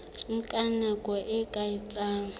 nka nako e ka etsang